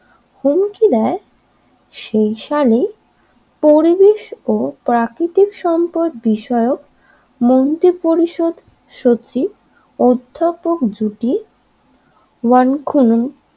হুমকি দেয় সেই সালেই পরিবেশ ও প্রাকৃতিক সম্পদ বিষয়ক মন্ত্রী পরিষদ সচিব ঊর্ধটক জুটি ওয়ান খনন